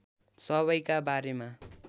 सबैका बारेमा